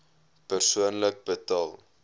persoonlik betaal